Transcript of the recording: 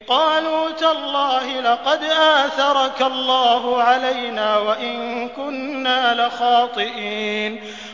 قَالُوا تَاللَّهِ لَقَدْ آثَرَكَ اللَّهُ عَلَيْنَا وَإِن كُنَّا لَخَاطِئِينَ